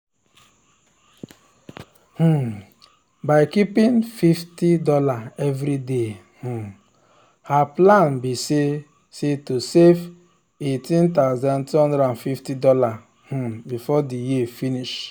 um by keeping fifty dollarsevery day um her plan be say say to save $18250 um before the year finish.